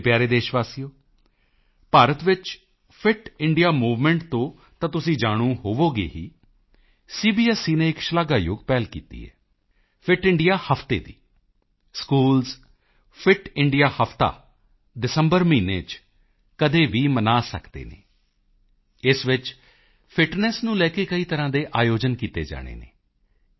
ਮੇਰੇ ਪਿਆਰੇ ਦੇਸ਼ਵਾਸੀਓ ਭਾਰਤ ਵਿੱਚ ਫਿਟ ਇੰਡੀਆ ਮੂਵਮੈਂਟ ਤੋਂ ਤਾਂ ਤੁਸੀਂ ਜਾਣੂ ਹੋ ਹੀ ਗਏ ਹੋਵੋਗੇ ਸੀਬੀਐਸਈ ਨੇ ਇਕ ਸ਼ਲਾਘਾਯੋਗ ਪਹਿਲ ਕੀਤੀ ਹੈ ਫਿਟ ਇੰਡੀਆ ਹਫ਼ਤੇ ਦੀ ਸਕੂਲਜ਼ ਫਿਟ ਇੰਡੀਆ ਹਫ਼ਤਾ ਦਸੰਬਰ ਮਹੀਨੇ ਚ ਕਦੇ ਵੀ ਮਨਾ ਸਕਦੇ ਹਨ ਇਸ ਵਿੱਚ ਫਿਟਨੈੱਸ ਨੂੰ ਲੈ ਕੇ ਕਈ ਤਰ੍ਹਾਂ ਦੇ ਆਯੋਜਨ ਕੀਤੇ ਜਾਣੇ ਹਨ